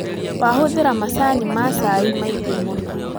Wahũthĩra macani ma cai maingĩ mũno